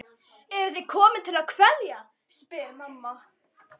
Eruð þið komin til að kveðja, spyr mamma.